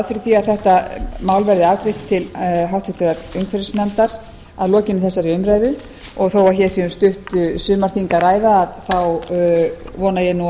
fyrir því að þetta mál verði afgreitt til háttvirtrar umhverfisnefndar að lokinni þegar umræðu þó að hér sé um stutt sumarþing að ræða vona ég